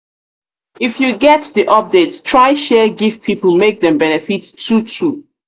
if you get the update try share give pipo make dem fit benefit too too